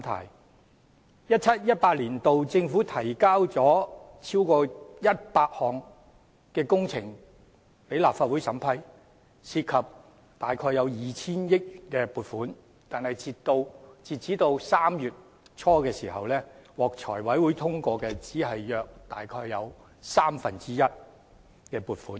2017-2018 年度政府提交了超過100項工程予立法會審批，涉及約 2,000 億元撥款，但截至3月初，獲財務委員會通過的只有約三分之一的撥款。